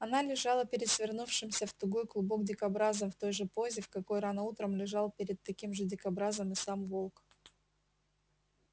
она лежала перед свернувшимся в тугой клубок дикобразом в той же позе в какой рано утром лежал перед таким же дикобразом и сам волк